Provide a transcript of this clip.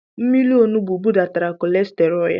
Mmírí onugbu budatara kolesterọl ya.